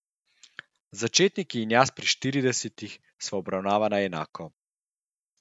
Začetnik in jaz pri štiridesetih sva obravnavana enako.